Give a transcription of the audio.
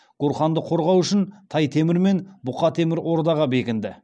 гурханды қорғау үшін тай темір мен бұқа темір ордаға бекінді